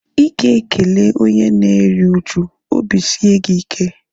Ịga ekele onye na-eri uju "obi sie gị ike"